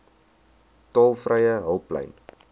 tolvrye hulplyn